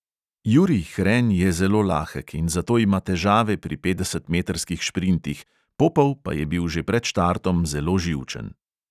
Jurij hren je zelo lahek in zato ima težave pri petdesetmetrskih šprintih, popov pa je bil že pred štartom zelo živčen.